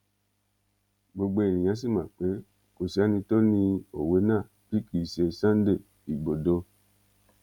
gbogbo èèyàn sì mọ pé kò sí ẹni tó ni òwe náà bí kì í ṣe sunday igbodò